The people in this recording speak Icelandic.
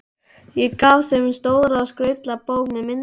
Ég gaf þeim stóra og skrautlega bók með myndum frá